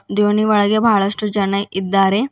ದೋಣಿ ಒಳಗೆ ಬಹಳಷ್ಟು ಜನ ಇದ್ದಾರೆ.